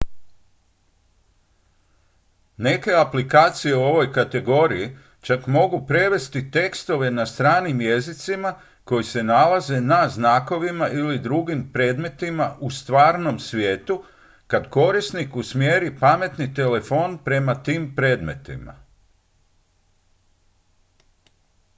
neke aplikacije u ovoj kategoriji čak mogu prevesti tekstove na stranim jezicima koji se nalaze na znakovima ili drugim predmetima u stvarnom svijetu kad korisnik usmjeri pametni telefon prema tim predmetima